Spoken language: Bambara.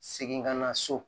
Segin ka na so